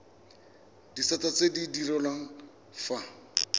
disata tse di direlwang fa